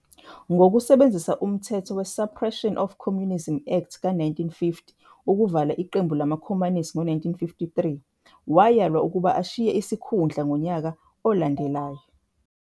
Ngokusebenzisa umthetho we-Suppression of Communism Act ka-1950 ukuvala iqembu lamaKhomanisi ngo-1953, wayalwa ukuba ashiye isikhundla ngonyaka olandelayo.